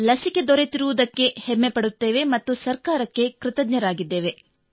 ಲಸಿಕೆ ದೊರಕಿರುವುದಕ್ಕೆ ಹೆಮ್ಮೆ ಪಡುತ್ತೇವೆ ಮತ್ತು ಸರ್ಕಾರಕ್ಕೆ ಕೃತಜ್ಞರಾಗಿದ್ದೇವೆ